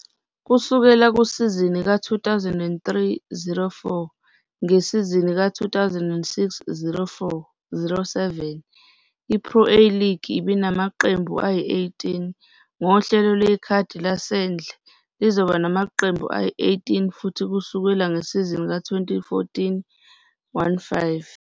Kusukela kusizini ka-2003-04, ngesizini ka-2006-07, iPro A League ibinamaqembu ayi-18. Ngohlelo lwekhadi lasendle, lizoba namaqembu ayi-18 futhi kusuka ngesizini ka-2014-15.